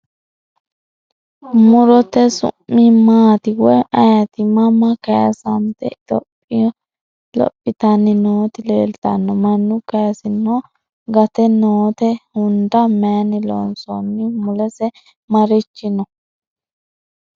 Murotte su'mi maatti woyi ayiitti? Mama kayiisante lophittanni nootti leelittanno? Mannu kayiinsinno? Gatte nootte? Hunda mayinni loonsoonni? Mulese marichi noo?